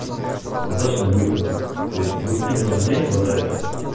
достаточно быстро то есть двадцать минут в день хватает